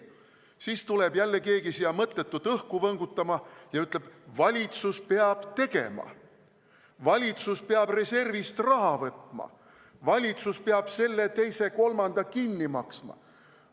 Siis tuleb jälle keegi siia mõttetult õhku võngutama ja ütleb, et valitsus peab tegema, valitsus peab reservist raha võtma, valitsus peab selle-teise-kolmanda kinni maksma.